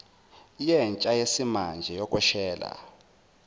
yentsha yesimanje yokweshela